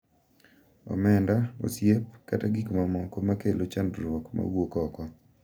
Omenda, osiep, kata gik mamoko ma kelo chandruok ma wuok oko.